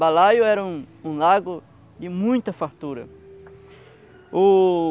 Balaio era um um lago de muita fartura. O